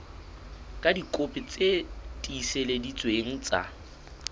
ka dikopi tse tiiseleditsweng tsa